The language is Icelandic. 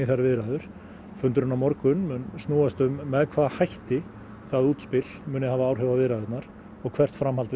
þær viðræður fundurinn á morgun mun snúast um með hvaða hætti það útspil muni hafa áhrif á viðræðurnar og hvert framhald